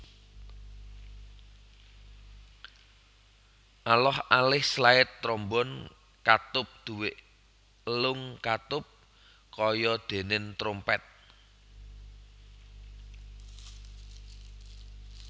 Aloh alih slide trombon katup duwé elung katup kaya denen trompet